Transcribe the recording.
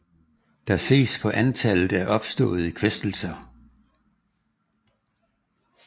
Der ses på antallet af opståede kvæstelser